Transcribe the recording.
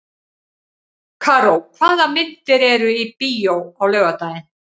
Karó, hvaða myndir eru í bíó á laugardaginn?